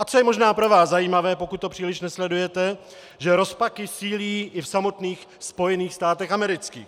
A co je možná pro vás zajímavé, pokud to příliš nesledujete, že rozpaky sílí i v samotných Spojených státech amerických.